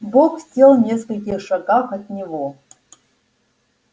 бог сел в нескольких шагах от него